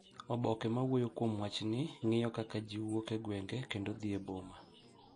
Oboke ma wuoyo kuom wachni ng’iyo kaka ji wuok e gwenge kendo dhi e boma.